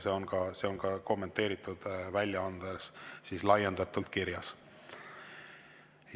See on ka kommenteeritud väljaandes laiendatult kirjas.